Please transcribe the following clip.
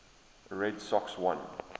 red sox won